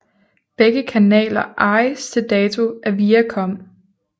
Begge kanaler ejes til dato af Viacom